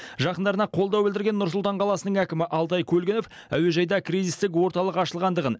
жақындарына қолдау білдірген нұр сұлтан қаласының әкімі алтай көлгінов әуежайда кризистік орталық ашылғандығын